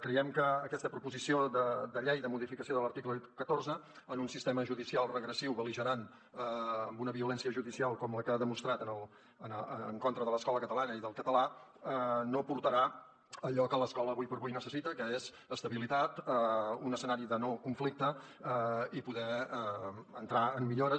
creiem que aquesta proposició de llei de modificació de l’article catorze en un sistema judicial regressiu bel·ligerant amb una violència judicial com la que s’ha demostrat en contra de l’escola catalana i del català no aportarà allò que l’escola ara per ara necessita que és estabilitat un escenari de no conflicte i poder entrar en millores